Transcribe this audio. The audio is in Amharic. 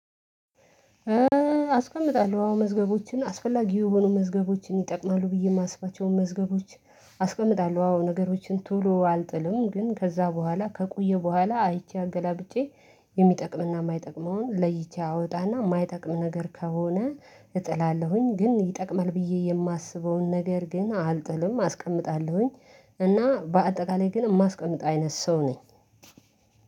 አስቀምጣለሁ አዎ መዝገቦችን አስፈላጊ የሆኑ መዝገቦችን ይጠቅማሉ ብዬ የማስብቻውን መዝገቦች። አስቀምጣለሁ አዎ ነገሮችን ቶሎ አልጥልም ግን ከዛ በኋላ ከቆየ በኋላ አይቼ አገላብጬ የሚጠቅምና የማይጠቅመውን ለይቼ አወጣና የማይጠቅም ነገር ከሆነ እጥላለሁኝ ግን ይጠቅማል ብዬ የማስበውን ነገር ግን አልጥልም አስቀምጣለሁኝ። እና በአጠቃላይ ግን የማስቀምጥ አይነት ሰው ነኝ።